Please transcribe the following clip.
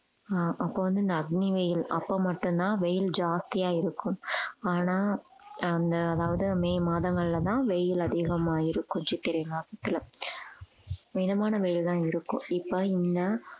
ஆஹ் அப்போ வந்து இந்த அக்னி வெயில் அப்ப மட்டும்தான் வெயில் ஜாஸ்தியா இருக்கும் ஆனா அந்த அதாவது மே மாதங்கள்லதான் வெயில் அதிகமாயிரும் சித்திரை மாசத்துல மிதமான வெயில் தான் இருக்கும் இப்ப இந்த